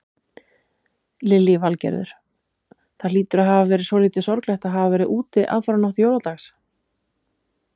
Lillý Valgerður: Það hlýtur að hafa verið svolítið sorglegt að hafa verið úti aðfaranótt jóladags?